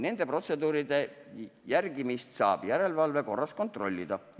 Nende protseduuride järgimist saab järelevalve korras kontrollida.